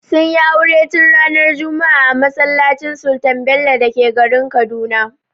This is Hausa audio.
Sun yi aure tun ranar juma'a a masallacin Sultan Bello da ke garin Kaduna.